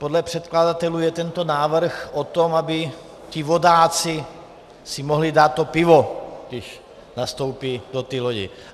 Podle předkladatelů je tento návrh o tom, aby ti vodáci si mohli dát to pivo, když nastoupí do té lodě.